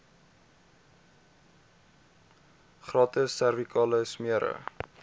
gratis servikale smere